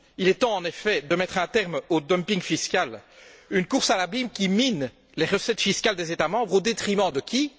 Il est temps, en effet, de mettre un terme au dumping fiscal, à une course à l'abîme qui mine les recettes fiscales des États membres au détriment de qui?